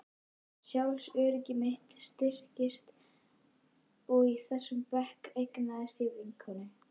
Sjálfsöryggi mitt styrktist og í þessum bekk eignaðist ég vinkonur.